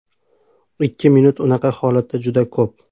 Ikki minut unaqa holatda juda ko‘p.